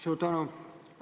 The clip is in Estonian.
Suur tänu!